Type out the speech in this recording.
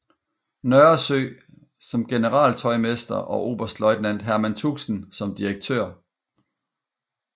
Nørresø som generaltøjmester og oberstløjtnant Herman Tuxen som direktør